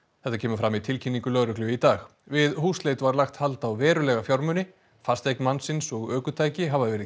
þetta kemur fram í tilkynningu lögreglu í dag við húsleit var lagt hald á verulega fjármuni fasteign mannsins og ökutæki hafa verið